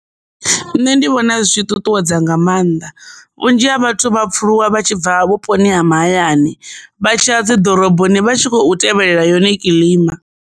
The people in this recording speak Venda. Nṋe ndi vhona zwi ṱuṱuwedza nga maanḓa vhunzhi ha vhathu vha pfuluswa vha tshi bva vhuponi ha mahayani vha tshiya dzi ḓoroboni vha tshi khou tevhelela yone kiḽima.